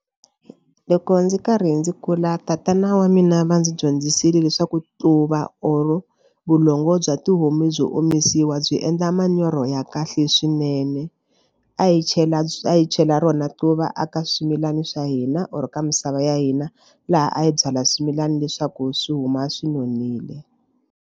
Loko ndzi karhi ndzi kula tatana wa mina va ndzi dyondzisile leswaku tluva or vulongo bya tihomu byo omisiwa byi endla manyoro ya kahle swinene. A hi chela a hi chela rona quva aka swimilana swa hina or ka misava ya hina laha a hi byala swimilana leswaku swi huma swi nonile.